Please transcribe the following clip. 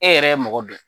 E yɛrɛ ye mɔgɔ dɔ ye